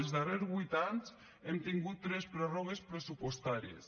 els darrers huit anys hem tingut tres pròrrogues pressupostàries